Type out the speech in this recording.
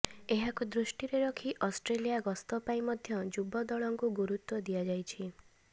ଏହାକୁ ଦୃଷ୍ଟିରେ ରଖି ଅଷ୍ଟ୍ରେଲିଆ ଗସ୍ତ ପାଇଁ ମଧ୍ୟ ଯୁବ ଦଳଙ୍କୁ ଗୁରୁତ୍ୱ ଦିଆଯାଇଛି